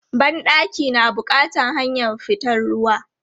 Ban ɗaki na bukatan hanyar fitan ruwa.